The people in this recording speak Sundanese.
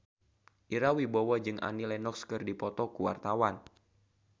Ira Wibowo jeung Annie Lenox keur dipoto ku wartawan